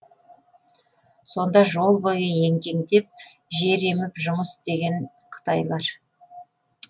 сонда жол бойы еңкеңдеп жер еміп жұмыс істеген қытайлар